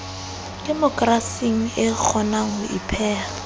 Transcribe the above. demokerasing e kgonang ho ipeha